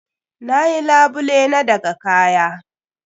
Na yi labule na daga kaya.